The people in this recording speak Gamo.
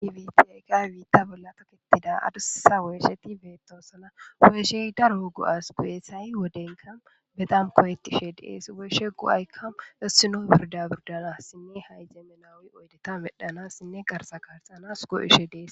Diwiti aykay wiitta bolla toketida adussa woeshe ti beetosana go7eshey daro go7as go7esay wodenka bedam kooyetishe dees weeshe go7aykka essino birda burdala sinne hayjeme nawi oydeta medhana sinne qarsa kaarxanas go7eshe dees.